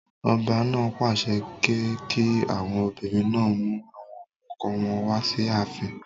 Ọba náà pàṣẹ pé kí àwọn obìnrin náà mú àwọn ọkọ wọn wá sí ààfin.